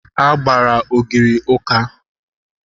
A gbara ogiri ụka